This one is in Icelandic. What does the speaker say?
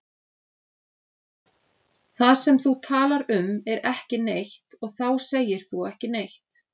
Það sem þú talar um er ekki neitt og þá segir þú ekki neitt.